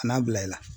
A n'a bila i la